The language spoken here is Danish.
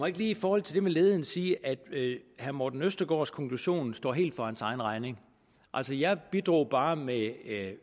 ikke lige i forhold til det med ledigheden sige at herre morten østergaards konklusion står helt for hans egen regning altså jeg bidrog bare med